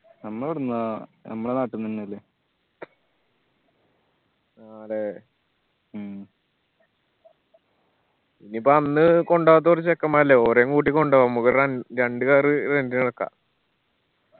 നമ്മൾ എവിടിന്നാ നമ്മള നാട്ടിന്ന് എന്നെല്ലേ മ്മ് ഇനി ഇപ്പൊ അന്ന് കൊണ്ടോവാത്തെ കൊറേ ചെക്കന്മാറില്ലെ ഓരേം കൂട്ടി കൊണ്ടുവാ നമ്മക്കൊരു റൺ രണ്ട് car ഏറക്ക